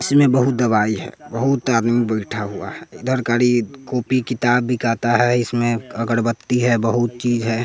इसमें बहुत दवाई है बहुत आदमी बैठा हुआ है इधर खाली कॉपी किताब बिकाता है इसमें अगरबत्ती है बहुत चीज़ है।